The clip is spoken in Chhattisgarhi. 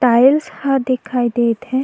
टालिश ह दिखाई देत हे।